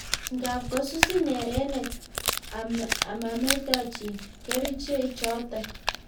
Ngaap kosusin erenet amametachin keriche chotok